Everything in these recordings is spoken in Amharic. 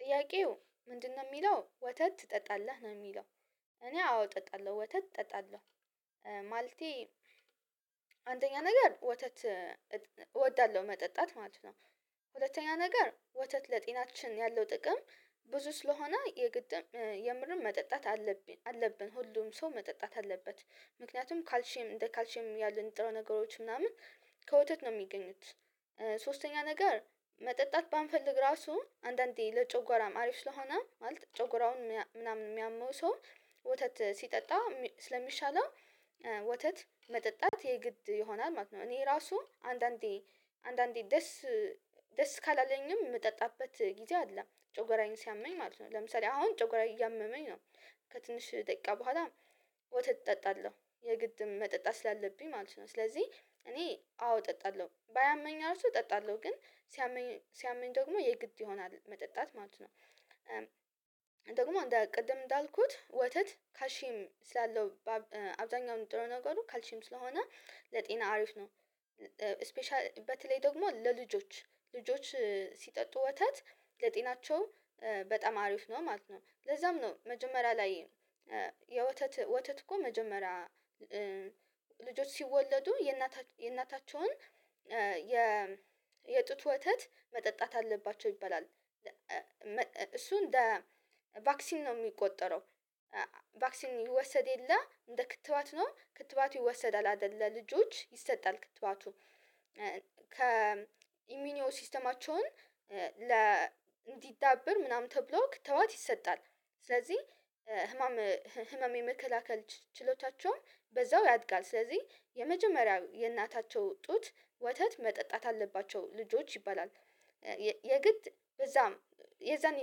ጥያቄው ምንድነው ሚለው ወተት ትጠጣለህ ነው የሚለው? እኔ አዎ እጠጣለሁ ወተት እጠጣለሁ። ማለቴ አንደኛ ነገር ወተት እወዳለሁ መጠጣት ማለት ነው። ሁለተኛ ነገር ወተት ለጤናችን ያለው ጥቅም ብዙ ስለሆነ የግድም የምርም መጠጣት አለብን አለብን ሁሉም ሰው መጠጣት አለበት። ምክንያቱም ካልሽም እንደ ካልሽም ያሉ ንጥረ ነገሮች ምናምን ከወተት ነው ሚገኙት። ሶስተኛ ነገር መጠጣት ባንፈልግ ራሱ አንዳንዴ ለጨጎራም አሪፍ ስለሆነ ማለት ጨጎራውን ምናምን ሚያመው ሰው ወተት ሲጠጣ ስለሚሻለው ወተት መጠጣት የግድ ይሆናል ማለት ነው። እኔ ራሱ አንዳንዴ አንዳንዴ ደስ ደስ ካላለኝም የምጠጣበት ጊዜ አለ ጮጎራዬን ሲያመኝ ማለት ነው። ለምሳሌ አሁን ጮጎራዬ እያመመኝ ነው። ከትንሽ ደቂቃ በኋላ ወተት እጠጣለሁ የግድ መጠጣት ስላለብኝ ማለት ነው። ስለዚህ እኔ አዎ እጠጣለሁ ባያመኝ እራሱ እጠጣለሁ ግን ሲያመኝ ሲያመኝ ደግሞ የግድ ይሆናል መጠጣት ማለት ነው። ደግሞ ቅድም እንዳልኩት ወተት ካልሺም ስላለው አብዛኛው ጥሩ ነገሩ ካልሽም ስለሆነ ለጤና አሪፍ ነው። ስፔሻሊ በተለይ ደግሞ ለልጆች ልጆች ሲጠጡ ወተት ለጤናቸው በጣም አሪፍ ነው ማለት ነው። ለዛም ነው መጀመሪያ ላይ የወተት ወተት እኮ መጀመሪያ ልጆች ሲወለዱ የእናታቸውን የጡት ወተት መጠጣት አለባቸው ይባላል። እንደ ቫክሲን ነው የሚቆጠረው። ቫክሲን ይወሰድ የለ እንደ ክትባት ነው ክትባቱ ይወሰዳል አይደል ለልጆች ይሰጣል ክትባቱ ከ ኢሚኒዮ ሲስተማቸውን ለ እንዲዳበር ምናምን ተብሎ ክተዋት ይሰጣል። ስለዚህ ህመም ህመም የመከላከል ችሎታቸውን በዛው ያድጋል ስለዚህ የመጀመሪያው የእናታቸው ጡት ወተት መጠጣት አለባቸው ልጆች ይባላል። የግድ በዛም የዛኔ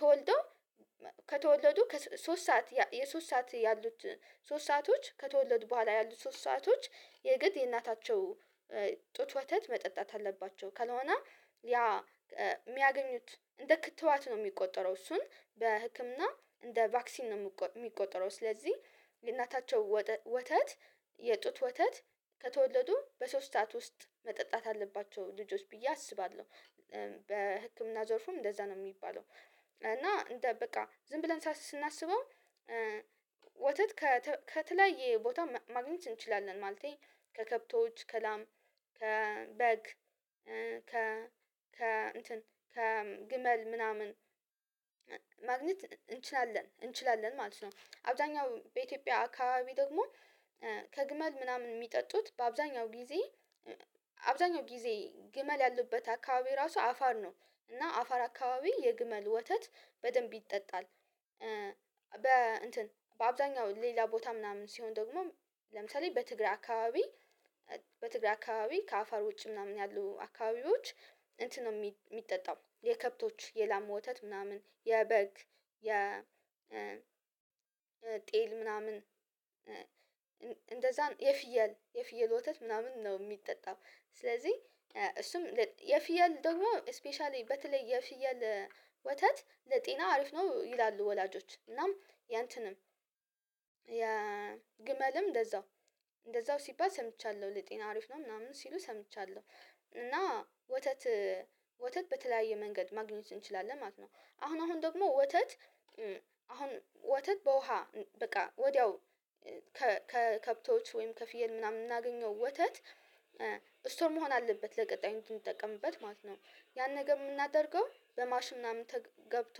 ተወልዶ ከተወለዱ ከሶስት ሰዓት የሶስት ሰዓት ያሉት ሶስት ሰአቶች ከተወለዱ በኋላ ያሉት ሶስት ሰአቶች የግድ የእናታቸው ጡት ወተት መጠጣት አለባቸው ከሆነ ያ የሚያገኙት እንደ ክትባት ነው የሚቆጠረው እሱን በህክምና እንደ ቫክሲን ነው የሚቆጠረው። ስለዚህ ለእናታቸው ወተት የጡት ወተት ከተወለዱ በሶስታት ውስጥ መጠጣት አለባቸው ልጆች ብዬ አስባለሁ በህክምና ዘርፉም እንደዛ ነው የሚባለው። እና እንደ በቃ ዝም ብለን ሳስብ ስናስበው ወተት ከተለያየ ቦታ ማግኘት እንችላለን ማለቴ ከከብቶች ከላም ከበግ ከ ከ እንትን ከ ግመል ምናምን ማግኘት እንችላለን እንችላለን ማለት ነው። አብዛኛው በኢትዮጵያ አካባቢ ደግሞ ከግመል ምናምን የሚጠጡት በአብዛኛው ጊዜ አብዛኛው ጊዜ ግመል ያለበት አካባቢ ራሱ አፋር ነው እና አፋር አካባቢ የግመል ወተት በደንብ ይጠጣል። በ እንትን በአብዛኛው ሌላ ቦታ ምናምን ሲሆን ደግሞ ለምሳሌ በትግራይ አካባቢ በትግራ አካባቢ ከአፋር ውጭ ምናምን ያሉ አካባቢዎች እንትን ነው የሚጠጣው የከብቶች የላማ ወተት ምናምን የበግ የ ጤል ምናምን እንደዛም የፍየል የፍየል ወተት ምናምን ነው የሚጠጣው። ስለዚህ እሱም የፍየል ደግሞ ስፔሻሊ በተለይ የፍየል ወተት ለጤና አሪፍ ነው ይላሉ ወላጆች እናም ያንተንም የግመልም እንደዛው እንደዛው ሲባል ሰምቻለሁ ለጤና አሪፍ ነው ምናምን ሲሉ ሰምቻለሁ። እና ወተት ወተት በተለያየ መንገድ ማግኘት እንችላለን ማለት ነው አሁን አሁን ደግሞ ወተት አሁን ወተት በውሃ በቃ ወዲያው ከከብቶች ወይም ከፍየል ምናምን የምናገኘው ወተት ስቶርም መሆን አለበት ለቀጣይ እንዲጠቀምበት ማለት ነው። ያን ነገር የምናደርገው በማሽ ምናምን ገብቶ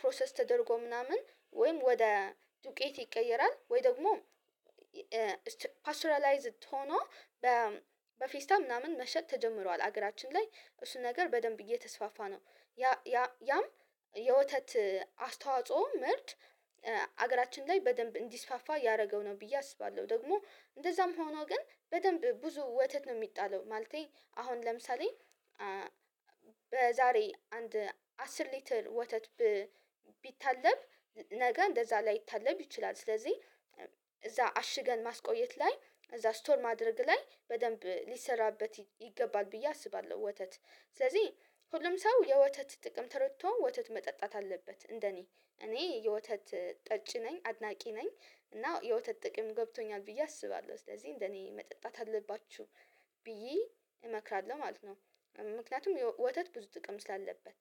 ፕሮሰስ ተደርጎ ምናምን ወይም ወደ ዱቄት ይቀየራል ወይ ደግሞ ፓስትራላይዝድ ሆኖ በፌስታል ምናምን መሸጥ ተጀምሯል ሀገራችን ላይ እሱ ነገር በደንብ እየተስፋፋ ነው። ያ ያ ያም የወተት አስተዋጽኦ ምርት ሀገራችን ላይ በደንብ እንዲስፋፋ ያደረገው ነው ብዬ አስባለሁ። ደግሞ እንደዛም ሆኖ ግን በደንብ ብዙ ወተት ነው የሚጣለው ማለቴ አሁን ለምሳሌ በዛሬ አንድ አስር ሊትል ወተት ቢታለብ ነገ እንደዛ ላይታለብ ይችላል ስለዚህ እዛ አሽገን ማስቆየት ላይ እዛ ስቶር ማድረግ ላይ በደንብ ሌሰራበት ይገባል ብዬ አስባለሁ። ወተት ስለዚህ ሁሉም ሰው የወተት ጥቅም ተረድቶ ወተት መጠጣት አለበት። እንደኔ እኔ የወተት ጠጪ ነኝ አድናቂ ነኝ እና የወተት ጥቅም ገብቶኛል ብዬ አስባለሁ ስለዚህ እንደኔ መጠጣት አለባችሁ እመክራለሁ ማለት ነው። ምክንያቱም ወተት ብዙ ጥቅም ስላለበት